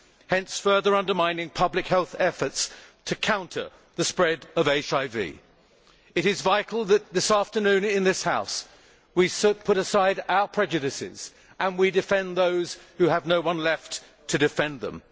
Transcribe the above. hence, further undermining public health efforts to counter the spread of HIV. It is vital that this afternoon in this House we put aside our prejudices and we defend those who have no one left to defend them.